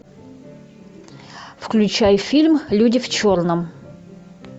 включай фильм люди в черном